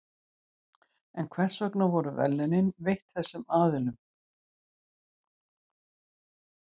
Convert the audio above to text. En hvers vegna voru verðlaunin veitt þessum aðilum?